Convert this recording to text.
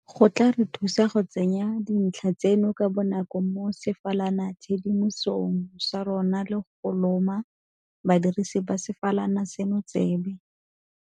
go tla re thusa go tsenya dintlha tseno ka bonako mo sefalanatshedimosong sa rona le go loma badirisi ba sefalana seno tsebe.